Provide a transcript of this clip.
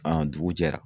dugu jɛra